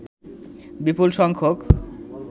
বিপুল সংখ্যক